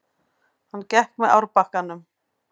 Hann gekk með árbakkanum.